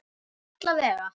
En alla vega.